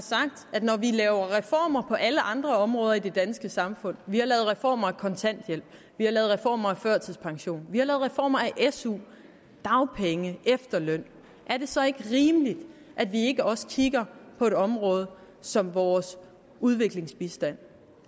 at når vi laver reformer på alle andre områder i det danske samfund vi har lavet reformer af kontanthjælp vi har lavet reformer af førtidspension vi har lavet reformer af su dagpenge efterløn er det så ikke rimeligt at vi også kigger på et område som vores udviklingsbistand